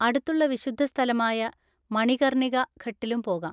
അടുത്തുള്ള വിശുദ്ധസ്ഥലമായ മണികർണിക ഘട്ടിലും പോവാം.